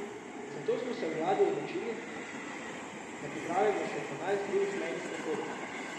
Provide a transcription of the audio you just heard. Zato smo se v vladi odločili, da pripravimo še dvanajst drugih mejnih prehodov.